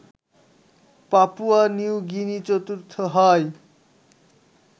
Papua New Guinea চতুর্থ হয়